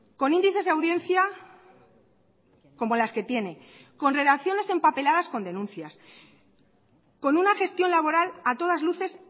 con índices de audiencia como las que tiene con redacciones empapeladas con denuncias con una gestión laboral a todas luces